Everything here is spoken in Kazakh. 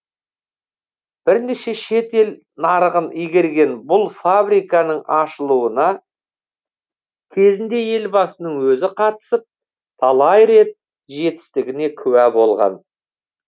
бірнеше шет ел нарығын игерген бұл фабриканың ашылуына кезінде елбасының өзі қатысып талай рет жетістігіне куә болған